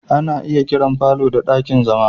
Ana iya kiran falo ɗakin zama.